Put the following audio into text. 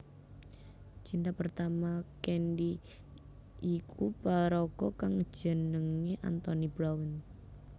Cinta pertama Candy yiku paraga kang jenenge Anthony Brown